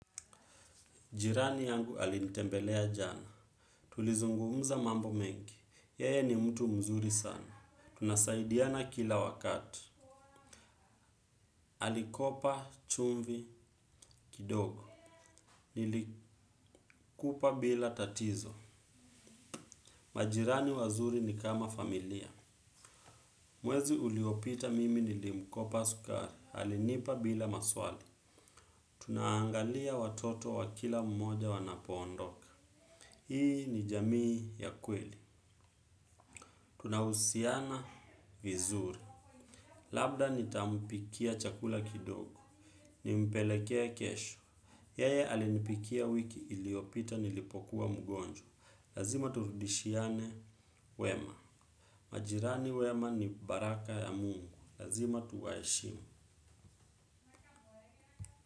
Jirani yangu alinitembelea jana. Tulizungumza mambo mengi. Yeye ni mtu mzuri sana. Tunasaidiana kila wakati. Alikopa chumvi kidogo. Nilikupa bila tatizo. Majirani wazuri ni kama familia. Mwezi uliopita mimi nilimkopa sukari. Alinipa bila maswali. Tunaangalia watoto wa kila mmoja wanapoondoka. Hii ni jamii ya kweli. Tunahusiana vizuri. Labda nitamupikia chakula kidogo. Nimpelekee kesho. Yeye alinipikia wiki iliopita nilipokuwa mgonjwa. Lazima turudishiane wema. Majirani wema ni baraka ya mungu. Lazima tuwaheshim.